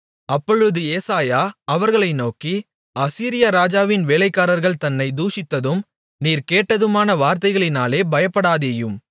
அப்பொழுது ஏசாயா அவர்களை நோக்கி அசீரியா ராஜாவின் வேலைக்காரர்கள் என்னைத் தூஷித்ததும் நீர் கேட்டதுமான வார்த்தைகளினாலே பயப்படாதேயும்